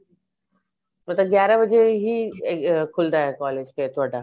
ਮਤਲਬ ਗਿਆਰਾ ਵਜੇ ਹੀ ਖੁਲਦਾ college ਤੁਹਾਡਾ